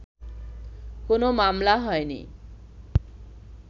কোনো মামলা হয়নি